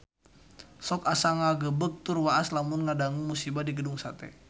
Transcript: Sok asa ngagebeg tur waas lamun ngadangu musibah di Gedung Sate